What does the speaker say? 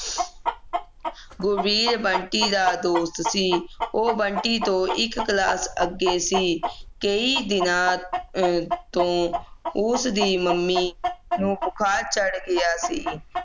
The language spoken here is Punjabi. ਗੁਰਵੀਰ ਬੰਟੀ ਦਾ ਦੋਸਤ ਸੀ ਉਹ ਬੰਟੀ ਤੋ ਇਕ class ਅੱਗੇ ਸੀ ਕਈ ਦਿਨਾਂ ਤੋਂ ਕਈ ਦਿਨਾਂ ਤੋਂ ਉਸ ਦੀ ਮੰਮੀ ਨੂੰ ਬੁਖਾਰ ਚੜ੍ਹ ਗਿਆ ਸੀ